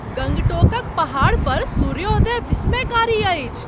गंगटोकक पहाड़पर सूर्योदय विस्मयकारी अइछ ।